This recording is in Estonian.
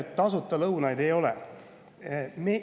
Tasuta lõunaid ei ole.